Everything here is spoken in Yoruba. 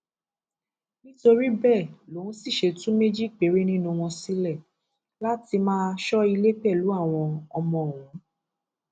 nítorí bẹẹ lòun sì ṣe tú méjì péré nínú wọn sílẹ láti máa sọ ilé pẹlú àwọn ọmọ òun